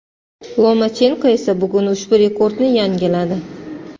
Lomachenko esa bugun ushbu rekordni yangiladi.